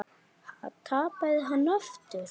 Ha, tapaði hann aftur?